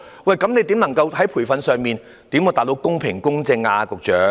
局長，你如何透過培訓，確保選舉公平和公正呢？